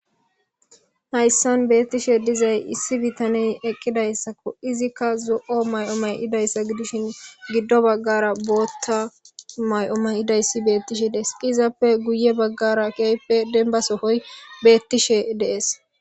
Hayssan beeththishee dizay issi bithanee eqqidaysakko; izikka zo7o maa7o maa7ida iza gidishin giddo baggaara booththa mayo may7ida isi beeththishe de7ees; izappe guyye baggaara keehippe dembba sohoy beeththishee de7ees.